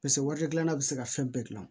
Paseke waati dilanna bɛ se ka fɛn bɛɛ dilan